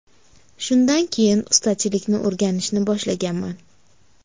Shundan keyin ustachilikni o‘rganishni boshlaganman.